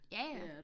Ja ja